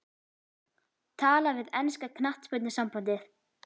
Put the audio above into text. Tala við enska knattspyrnusambandið?